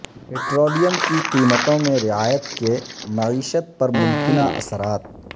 petroleum کی قمیتوں میں رعایت کے معیشت پر ممکنہ اثرات